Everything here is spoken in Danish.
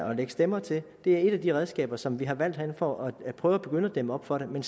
at lægge stemmer til er et af de redskaber som vi har valgt herinde for at prøve at begynde at dæmme op for det men